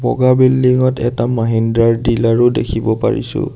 বগা বিল্ডিং ত এটা মহিন্দ্ৰা ৰ ডিলাৰ ও দেখিব পাইছোঁ।